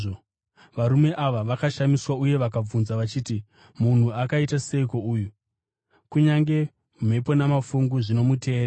Varume ava vakashamiswa uye vakabvunza vachiti, “Munhu akaita seiko uyu? Kunyange mhepo namafungu zvinomuteerera!”